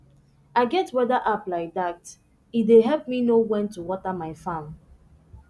i get weather app like dat e dey help me know when to water my farm